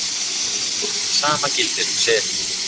Það sama gildir um seli